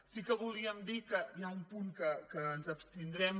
sí que volíem dir que hi ha un punt en què ens abstindrem